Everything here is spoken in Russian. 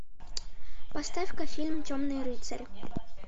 поставь ка фильм темный рыцарь